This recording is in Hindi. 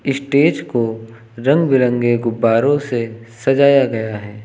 स्टेज को रंग बिरंगे गुब्बारों से सजाया गया है।